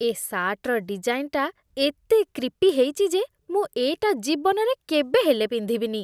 ଏ ସାର୍ଟର ଡିଜାଇନ୍‌ଟା ଏତେ କ୍ରିପି ହେଇଛି ଯେ ମୁଁ ଏଇଟା ଜୀବନରେ କେବେ ହେଲେ ପିନ୍ଧିବିନି ।